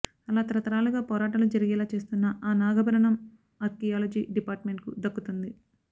అలా తరతరాలుగా పోరాటాలు జరిగేలా చేస్తున్న ఆ నాగభరణం అర్కియాలజీ డిపార్డ్మెంట్కు దక్కుతుంది